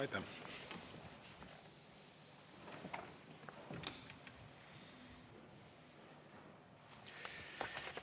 Aitäh!